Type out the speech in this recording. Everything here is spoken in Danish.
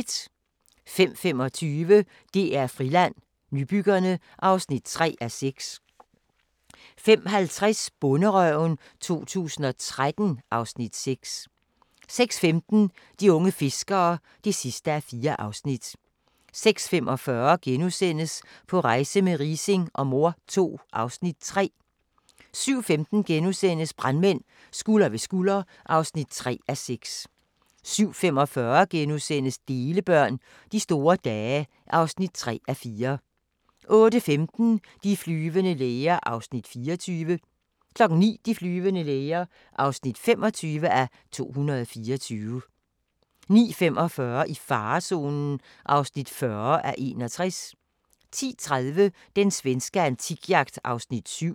05:25: DR Friland: Nybyggerne (3:6) 05:50: Bonderøven 2013 (Afs. 6) 06:15: De unge fiskere (4:4) 06:45: På rejse med Riising og mor II (Afs. 3)* 07:15: Brandmænd – Skulder ved skulder (3:6)* 07:45: Delebørn – De store dage (3:4)* 08:15: De flyvende læger (24:224) 09:00: De flyvende læger (25:224) 09:45: I farezonen (40:61) 10:30: Den svenske antikjagt (7:10)